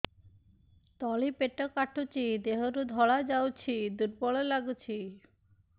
ତଳି ପେଟ କାଟୁଚି ଦେହରୁ ଧଳା ଯାଉଛି ଦୁର୍ବଳ ଲାଗୁଛି